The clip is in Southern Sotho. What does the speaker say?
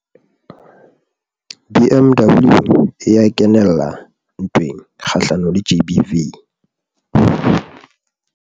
BMW e ya kenella ntweng kgahlanong le GBV